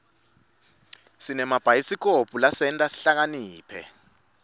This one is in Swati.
sinemabhayisikobho lasenta sihlakaniphe